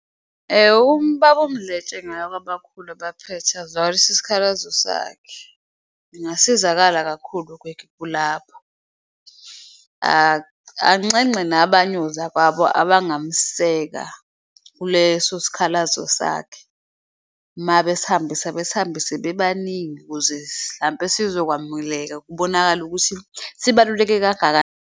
UBaba uMdletshe engaya kwabakhulu abaphethe azwakalise isikhalazo sakhe engasizakala kakhulu lapho. Anxenxe nabanye ozakwabo abangamseka kuleso sikhalazo sakhe, mabesihambisa besihambise bebaningi ukuze hlampe sizokwamukeleka kubonakale ukuthi sibaluleke .